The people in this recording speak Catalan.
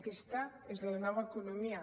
aquesta és la nova economia